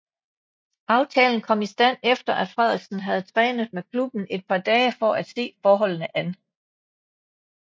Aftalen kom i stand efter at Frederiksen havde trænet med klubben et par dage for at se forholdene an